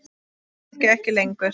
En kannski ekki lengur.